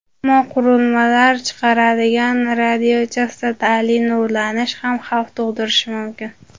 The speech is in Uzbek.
Ammo qurilmalar chiqaradigan radiochastotali nurlanish ham xavf tug‘dirishi mumkin.